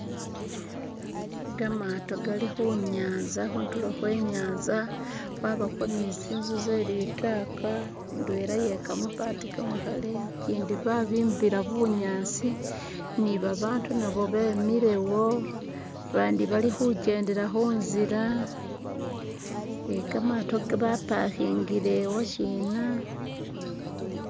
Gamato gali khunyaza khutulo khwenyanza khwabakho ni zinzu zelitaka indwela ye kamapati kamakhale gindi babimbila bunyaasi nibabatu nabo bemilewo bandi balikhujedela kunzila eeh kamato bapakingile woshina.